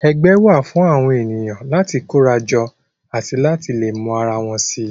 Ẹgbẹ́ wà fún àwọn ènìyàn láti kóra jọ àti láti lè mọ ara wọn si